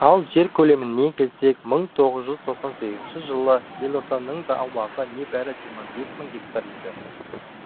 ал жер көлеміне келсек мың тоғыз жүз тоқсан сегіз жылы елорданың аумағы небәрі жиырма бес мың гектар еді